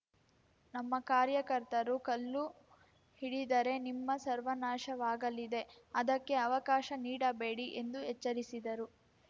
ನಮ್ಮ ಕಾರ್ಯಕರ್ತರು ಕಲ್ಲು ಹಿಡಿದರೇ ನಿಮ್ಮ ಸರ್ವನಾಶವಾಗಲಿದೆ ಅದಕ್ಕೆ ಅವಕಾಶ ನೀಡಬೇಡಿ ಎಂದು ಎಚ್ಚರಿಸಿದರು